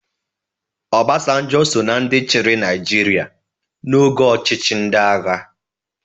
Obasanjo so na ndị chịrị Naịjirịa n'oge ọchịchị ndị agha.